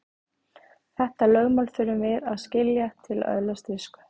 Þetta lögmál þurfum við að skilja til að öðlast visku.